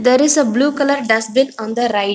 there is a blue colour dustbin on the right.